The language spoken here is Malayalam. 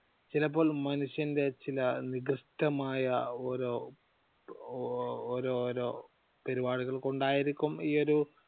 ചിലപ്പോൾ മനുഷ്യന്റെ ചില നികൃഷ്ടമായ ഓരോ ഓരോരോ പരിപാടികൾ കൊണ്ടായിരിക്കും ഈയൊരു